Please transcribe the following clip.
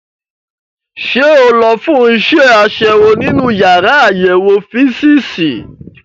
Ṣé o lọ fún iṣẹ́ àṣewò nínú yàrá àyẹ̀wò físììsì?